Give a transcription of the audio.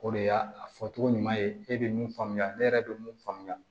O de y'a fɔcogo ɲuman ye e bɛ mun faamuya ne yɛrɛ bɛ mun faamuya